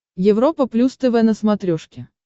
европа плюс тв на смотрешке